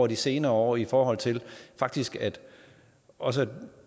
de senere år i forhold til faktisk også at